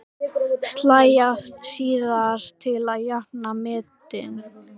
Slæ af síðar til að jafna metin.